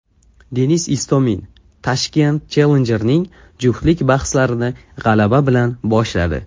Denis Istomin Tashkent Challenger’ning juftlik bahslarini g‘alaba bilan boshladi.